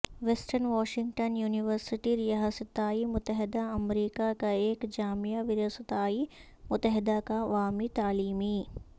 western Washington University ریاستہائے متحدہ امریکا کا ایک جامعہ و ریاستہائے متحدہ کا عوامی تعلیمی